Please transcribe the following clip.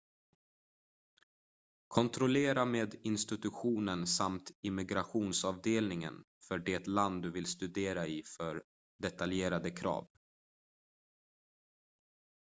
kontrollera med institutionen samt immigrationsavdelningen för det land du vill studera i för detaljerade krav